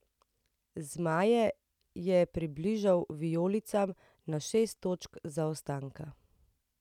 Zmaje je približal vijolicam na šest točk zaostanka.